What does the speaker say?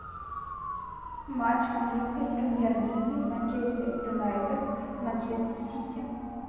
матч английской премьер лиги манчестер юнайтед с манчестер сити